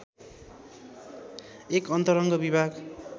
एक अन्तरङ्ग विभाग